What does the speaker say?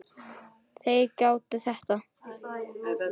Þeir gátu þetta.